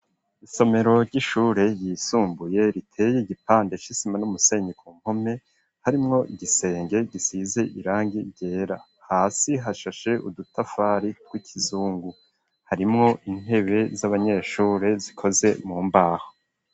Isomero ry'ishure ryisumbuye riteye igipande c'isima n'umusenyi ku mpome harimwo igisenge gisize irangi ryera hasi hashashe udutafari tw'ikizungu harimwo intebe z'abanyeshure zikoze mu mbaho.